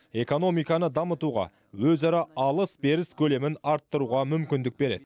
экономиканы дамытуға өзара алыс беріс көлемін арттыруға мүмкіндік береді